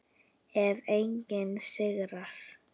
Ef enginn sigrar.